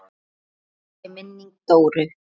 Blessuð sé minning Dóru.